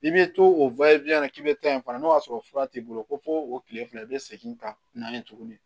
I bɛ to o la k'i bɛ taa yen fana n'o y'a sɔrɔ fura t'i bolo ko fɔ o tile fila i bɛ segin ka na yen tuguni